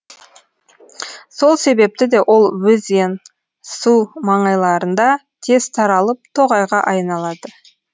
сол себепті де ол өзен су маңайларында тез таралып тоғайға айналады